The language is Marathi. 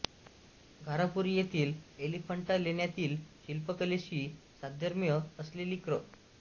घारापुरी येथील एलिफंटा लेण्यातील शिल्पकलेशी साधर्म्य असलेली क्र